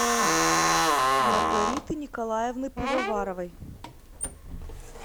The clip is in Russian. маргариты николаевны пивоваровой